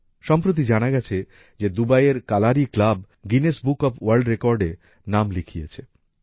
সম্প্রতি জানা গেছে যে দুবাইয়ের Kalari club Guinness book of world রেকর্ডে নাম লিখিয়েছে